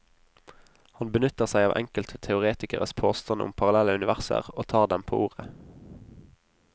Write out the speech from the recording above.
Han benytter seg av enkelte teoretikeres påstand om parallelle universer, og tar dem på ordet.